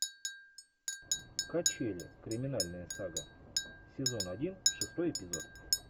качели криминальная сага сезон один шестой эпизод